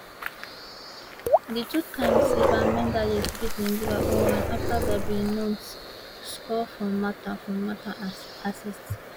di twotime silver medallists beat nigeria oh one afta gabi nunes score from martha from martha assist